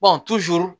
bɔn